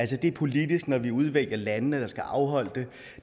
det er politisk når vi udvælger landene der skal afholde det